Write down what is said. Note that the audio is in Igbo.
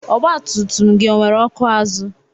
Ọgba tum tum gị ọ nwere ọkụ azụ?